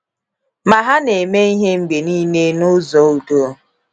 Ma ha na - eme Ihe mgbe niile n’ụzọ udo.